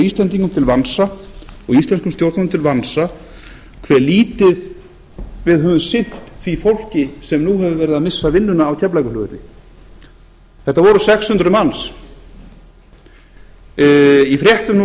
íslendingum og íslenskum stjórnvöldum til vansa hve lítið við höfum sinnt því fólki sem nú hefur verið að missa vinnuna á keflavíkurflugvelli þetta voru sex hundruð manns í fréttum nú